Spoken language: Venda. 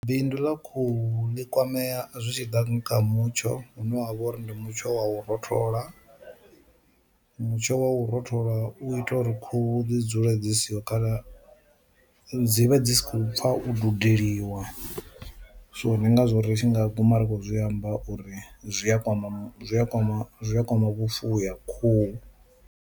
Bindu ḽa khuhu ḽi kwamea zwi tshi ḓa kha mutsho hune wavha uri ndi mutsho wa u rothola, mutsho wa u rothola u ita uri khuhu dzi dzule dzi siho kana dzi vha dzi sa khou pfha u dudeliwa, so ndi ngazwo ritshi nga guma ri kho zwi amba uri zwi a kwama zwi a kwama zwi a kwama vhufuwi ha khuhu.